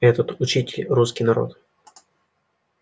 этот учитель русский народ